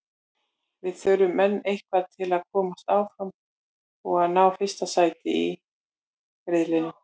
Við þurfum enn eitthvað til að komast áfram og að ná fyrsta sæti í riðlinum.